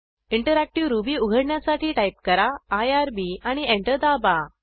interactive Ruby उघडण्यासाठी type करा IRB आणि एंटर दाबा